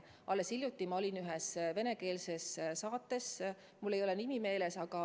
Alles hiljuti ma olin ühes venekeelses saates, mul ei ole selle nimi meeles.